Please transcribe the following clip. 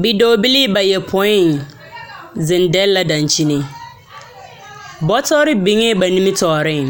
Bidɔɔbilii bayopõi zeŋ dɛle la daŋkyini bɔtɔre biŋee ba nimitɔɔreŋ.